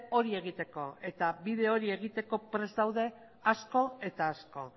hori egiteko eta bide hori egiteko prest zaude asko eta asko